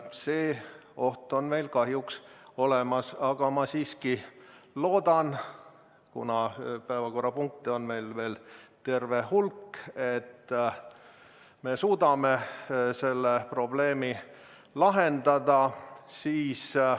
See oht on meil kahjuks olemas, aga ma siiski loodan, kuna päevakorrapunkte on meil veel terve hulk, et me suudame selle probleemi lahendada.